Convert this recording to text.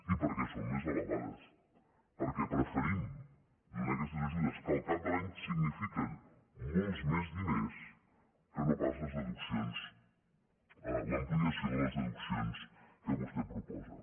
i perquè són més elevades perquè preferim donar aquestes ajudes que al cap de l’any signifiquen molts més diners que no pas les deduccions l’ampliació de les deduccions que vostè proposa